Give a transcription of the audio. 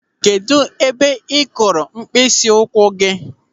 Kedụ ebe ị kụrụ mkpịsịụkwụ?